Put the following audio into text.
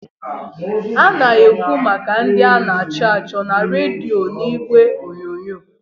A na-ekwu maka ndị a na-achọ achọ na redio n'igwe onyonyo.